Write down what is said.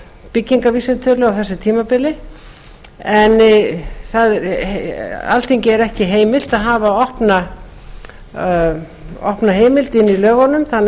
byggingarvísitölu á þessu tímabili alþingi er ekki heimilt að hafa opna heimild inni í lögunum þannig